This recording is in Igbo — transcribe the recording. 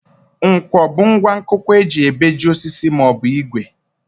Nkwọ bụ ngwa nkụkwa e ji ebeji osisi maọbụ ìgwè